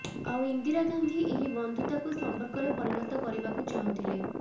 ଆଉ ଇନ୍ଦିରା ଗାନ୍ଧୀ ଏହି ବନ୍ଧୁତାକୁ ସମ୍ପର୍କରେ ପରିଣତ କରିବାକୁ ଚାହୁଁଥିଲେ